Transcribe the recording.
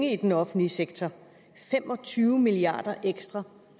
i den offentlige sektor fem og tyve milliard kroner ekstra